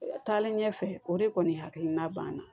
Taalen ɲɛfɛ o de kɔni hakilina banna